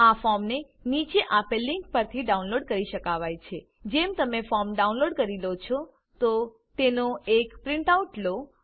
આ ફોર્મને નીચે આપેલ લીંક પરથી ડાઉનલોડ કરી શકાવાય છે httpwwwutiitslcomformsForms 49aપીડીએફ જેમ તમે ફોર્મ ડાઉનલોડ કરી લો છો તો તેનો એક પ્રીંટ આઉટ લો